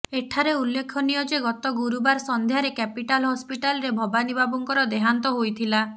ଏଠାରେ ଉଲ୍ଲେଖନୀୟ ଯେ ଗତ ଗୁରୁବାର ସଂଧ୍ୟାରେ କ୍ୟାପିଟାଲ ହସ୍ପିଟାଲରେ ଭବାନୀ ବାବୁଙ୍କର ଦେହାନ୍ତ ହୋଇଥିଲା